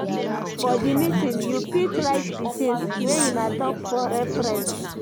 For di meeting, you fit write di things wey una talk for reference